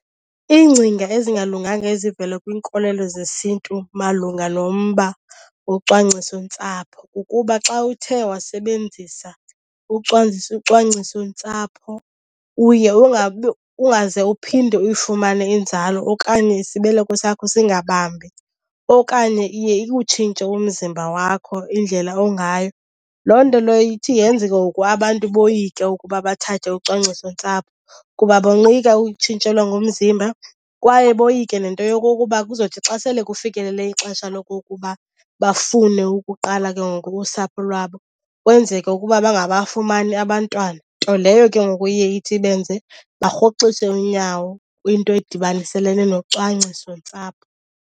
Iingcinga ezingalunganga ezivela kwiinkolelo zesiNtu malunga nomba wocwangcisontsapho kukuba xa uthe wasebenzisa ucwangcisontsapho uye ungabi, ungaze uphinde uyifumane inzalo okanye isibeleko sakho singabambi. Okanye iye ikutshintshe umzimba wakho, indlela ongayo. Loo nto leyo ithi yenze ke ngoku abantu boyike ukuba bathathe ucwangcisontsapho kuba boyika ukutshintshelwa ngumzimba kwaye boyike nento yokokuba kuzothi xa sele kufikelele ixesha lokokuba bafune ukuqala ke ngoku usapho lwabo kwenzeke ukuba bangabafumani abantwana. Nto leyo ke ngoku iye ithi benze barhoxise unyawo kwinto edibaniselene nocwangcisontsapho.